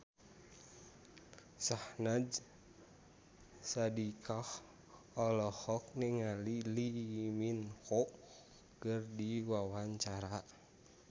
Syahnaz Sadiqah olohok ningali Lee Min Ho keur diwawancara